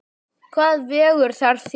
Hvað vegur þar þyngst?